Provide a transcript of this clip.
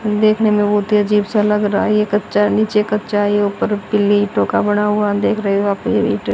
देखने में बहोत ही अजीब सा लग रहा है ये कच्चा नीचे कच्चा ही ऊपर पीली टोका बना हुआ देख रहे हो आप इइ --